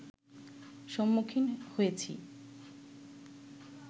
সম্মুখীন হয়েছি